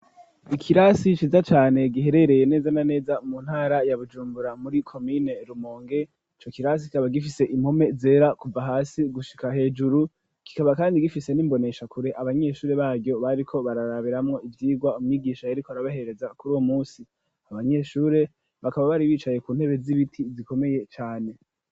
Ikirasi ciza cane giherereye neza na neza mu ntara ya Bujumbura muri komine Rumonge ico kirasi kikaba gifise impome zera kuva hasi gushika hejuru, kikaba kandi gifise n'imboneshakure abanyeshuri baryo bariko bararabiramwo ivyigwa umwigisha yariko arabahereza kuri uwo munsi, abanyeshuri bakaba bari bicaye ku ntebe z'ibiti zikomeye cane.